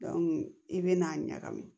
i bɛna ɲagami